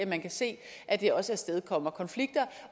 man kan se at det også afstedkommer konflikter